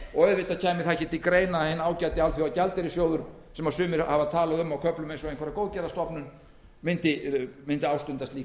og ekki kæmi til greina að hinn ágæti alþjóðagjaldeyrissjóður sem sumir hafa á köflum talað um eins og góðgerðastofnun mundi ástunda slík